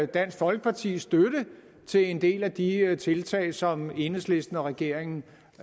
dansk folkepartis støtte til en del af de tiltag som enhedslisten og regeringen